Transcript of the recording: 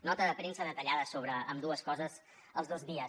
nota de premsa detallada sobre ambdues coses els dos dies